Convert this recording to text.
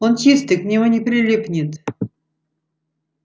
он чистый к нему не прилипнет